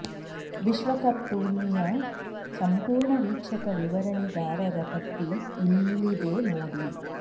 ವಿಶ್ವಕಪ್ ಟೂರ್ನಿಯ ಸಂಪೂರ್ಣ ವೀಕ್ಷಕ ವಿವರಣೆಗಾರರ ಪಟ್ಟಿ ಇಲ್ಲಿದೆ ನೋಡಿ